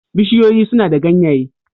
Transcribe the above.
Bishiyoyi suna da ganyaye